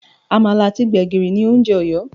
Àmàlà àti gbègìrì ni oúnjẹ Ọ̀yọ́